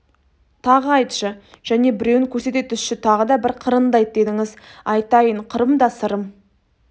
тағы айтшы және біреуін көрсете түсші тағы да бір қырынды айт дедіңіз айтайын қырым да сырым